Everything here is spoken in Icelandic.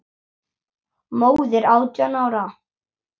Móðir átján ára?